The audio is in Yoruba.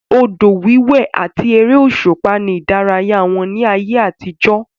Odò wíwé àti ère òṣùpá ni ìdárayá wọn ní ayé àtijọ́